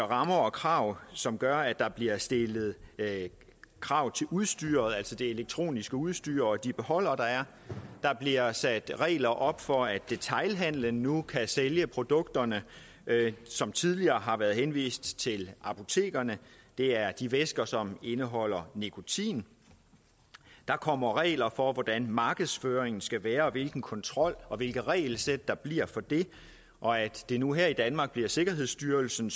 rammer rammer som gør at der bliver stillet krav til udstyret altså det elektroniske udstyr og de beholdere der er der bliver sat regler op for at detailhandelen nu kan sælge produkterne som tidligere har været henvist til apotekerne det er de væsker som indeholder nikotin der kommer regler for hvordan markedsføringen skal være og hvilken kontrol og hvilket regelsæt der bliver for det og at det nu her i danmark bliver sikkerhedsstyrelsen